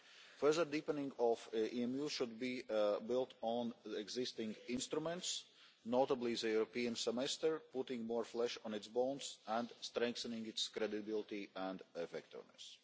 Further deepening of EMU should be built on the existing instruments, notably the European Semester, putting more flesh on its bones and strengthening its credibility and effectiveness.